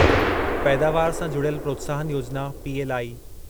पैदावार सां जुड़ियल प्रोत्साहन योजिना पीएलआई